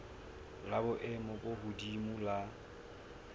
la boemo bo hodimo la